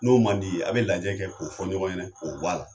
N'o man di ye, a bɛ lajɛ kɛ k'o fɔ ɲɔgɔn ɲɛnɛ k'o bɔ a la.